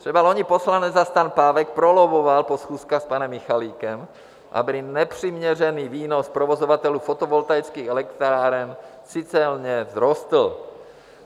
Třeba loni poslanec za STAN Pávek prolobboval po schůzkách s panem Michalikem, aby nepřiměřený výnos provozovatelů fotovoltaických elektráren citelně vzrostl.